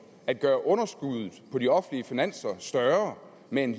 at gøre underskuddet på de offentlige finanser større med en